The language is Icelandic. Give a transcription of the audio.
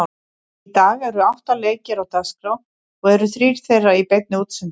Í dag eru átta leikir á dagskrá og eru þrír þeirra í beinni útsendingu.